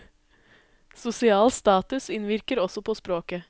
Sosial status innvirker også på språket.